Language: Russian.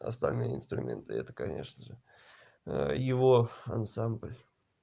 остальные инструменты это конечно же его ансамбль